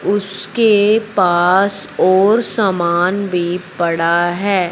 उसके पास और सामान भी पड़ा है।